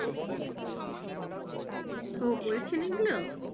ও করেছেন এগুলো?